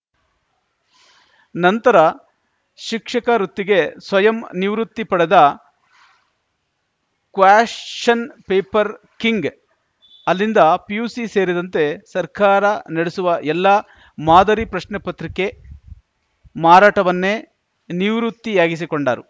ನಂತರ ಶಿಕ್ಷಕ ವೃತ್ತಿಗೆ ಸ್ವಯಂ ನಿವೃತ್ತಿ ಪಡೆದ ಕ್ವಾಶ್ಚನ್‌ ಪೇಪರ್‌ ಕಿಂಗ್‌ ಅಲ್ಲಿಂದ ಪಿಯುಸಿ ಸೇರಿದಂತೆ ಸರ್ಕಾರ ನಡೆಸುವ ಎಲ್ಲಾ ಮಾದರಿ ಪ್ರಶ್ನೆ ಪತ್ರಿಕೆ ಮಾರಾಟವನ್ನೆ ನಿವೃತ್ತಿಯಾಗಿಸಿಕೊಂಡರು